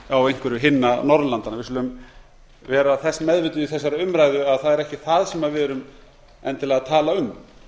á einhverju hinna norðurlandanna við skulum vera þess meðvituð í þessari umræðu að það er ekki það sem við erum endilega að tala um